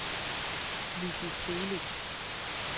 Lissy Celik